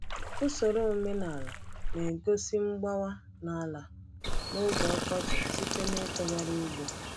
Usoro omenala na-egosi mgbawa n’ala n’oge ọkọchị site n’itughari ugbo.